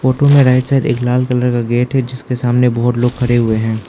Photo में right side एक लाल कलर का गेट है जिसके सामने बहुत सारे लोग खड़े हुए हैं।